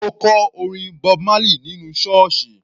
Ma kọ orin Bob Marley nínú sọ́ọ̀sì.